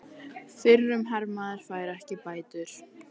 Fyrrum hermaður fær ekki bætur